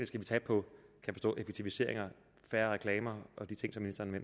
skal vi tage på effektivisering og færre reklamer og de ting